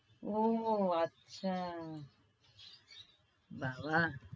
ও আচ্ছা। বাবা